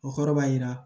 O kɔrɔ b'a jira